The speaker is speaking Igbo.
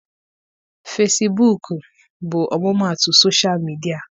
Fesibuuku bụ ọmụmaatụ sosha midịa.